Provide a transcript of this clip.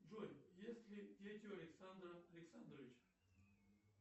джой есть ли дети у александра александровича